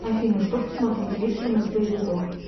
афина что посмотреть вечером из боевиков